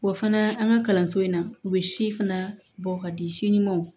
Wa fana an ka kalanso in na u bɛ si fana bɔ ka di si ɲumanw